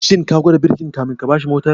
Shin ka gwada birkin kafin ka bashi mortar?